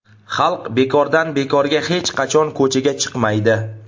Xalq bekordan-bekorga hech qachon ko‘chaga chiqmaydi.